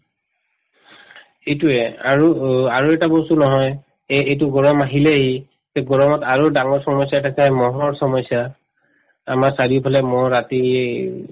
এইটোয়ে আৰু উম আৰু এটা বস্তু নহয় এই এইটো গৰম আহিলেই তে গৰমত আৰু ডাঙৰ samasya এটা মহৰ samasya আমাৰ চাৰিওফালে মহ ৰাতি